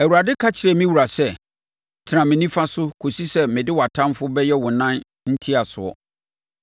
Awurade ka kyerɛɛ me Wura sɛ, “Tena me nifa so kɔsi sɛ mede wʼatamfoɔ bɛyɛ wo nan ntiasoɔ.”